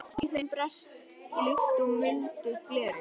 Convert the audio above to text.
Í þeim brast líkt og í muldu gleri.